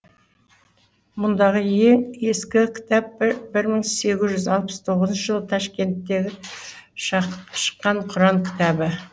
мұндағы ең ескі кітап бір мың сегіз жү алпыс тоғызыншы жылы ташкенттегі шыққан құран кітабы